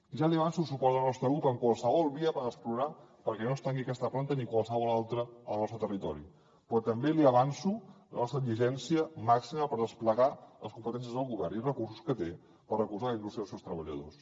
ja li avanço el suport del nostre grup en qualsevol via per explorar perquè no es tanqui aquesta planta ni qualsevol altra al nostre territori però també li avanço la nostra exigència màxima per desplegar les competències del govern i els recursos que té per recolzar la indústria i els seus treballadors